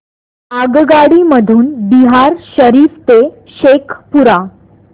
आगगाडी मधून बिहार शरीफ ते शेखपुरा